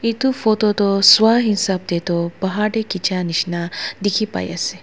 Etu photo toh swaa hesab dae tuh bahar dae kechia nishina dekhi pai ase.